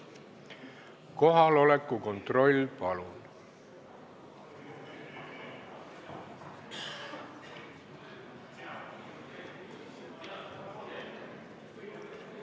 Kohaloleku kontroll, palun!